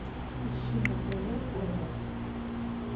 ищи на тв курай